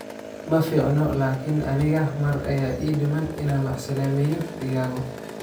Maficno laakin aniga mar aya iidiman ina macasalameyo Diago.